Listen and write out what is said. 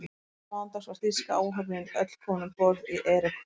Síðla mánudags var þýska áhöfnin öll komin um borð í Eriku